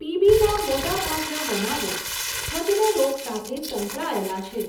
પીબીના મોટાભાગના બનાવો છદ્મ રોગ સાથે સંકળાયેલા છે.